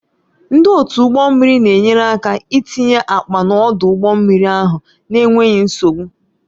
Ndị otu ụgbọ mmiri na-enyere aka itinye akpa n'ọdụ ụgbọ mmiri ahụ n'enweghị nsogbu.